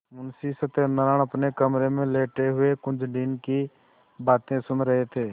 मुंशी सत्यनारायण अपने कमरे में लेटे हुए कुंजड़िन की बातें सुन रहे थे